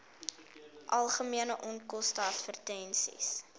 algemene onkoste advertensies